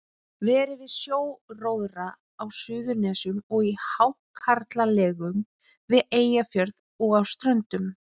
Verið við sjóróðra á Suðurnesjum og í hákarlalegum við Eyjafjörð og á Ströndum.